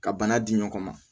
Ka bana di ɲɔgɔn ma